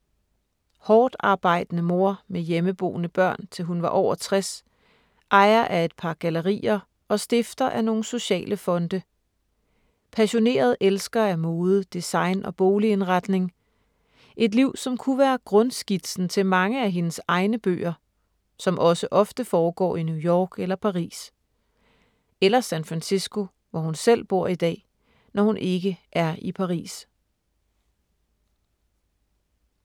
Hårdtarbejdende mor, med hjemmeboende børn til hun var over 60, ejer af et par gallerier og stifter af nogle sociale fonde. Passioneret elsker af mode, design og boligindretning. Et liv som kunne være grundskitsen til mange af hendes egne bøger, som også ofte foregår i New York eller Paris. Eller San Francisco, hvor hun selv bor i dag, når hun ikke er i Paris.